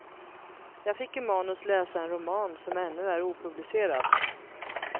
Jag fick i manus läsa en roman, som ännu är opublicerad.